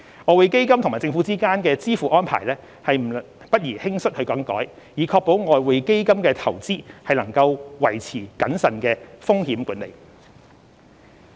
外匯基金與政府之間的支付安排不宜輕率更改，以確保外匯基金的投資能維持謹慎的風險管理。